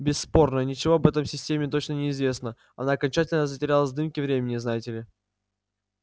бесспорно ничего об этой системе точно не известно она окончательно затерялась в дымке времени знаете ли